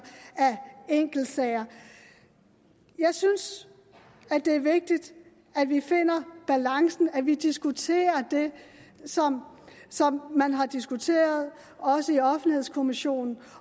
af enkeltsager jeg synes det er vigtigt at vi finder balancen og at vi diskuterer det som man har diskuteret også i offentlighedskommissionen